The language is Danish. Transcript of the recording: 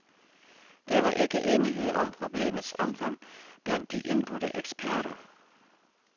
Der var ikke enighed om problemets omfang blandt de indbudte eksperter.